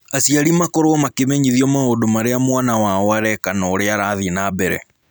Aciari makoragwo makĩmenyithio maũndũ marĩa mwana wao areka na ũrĩa arathiĩ na mbere.